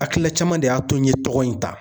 Hakilila caman de y'a to n ye tɔgɔ in ta